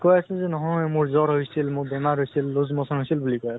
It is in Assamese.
সি কৈ আছে যে নহয় মোৰ জ্বৰ হৈছিল, মোৰ বেমাৰ হৈছিল loose motion হৈছিল বুলি কৈ আছে।